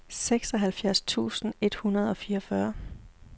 seksoghalvfjerds tusind et hundrede og fireogfyrre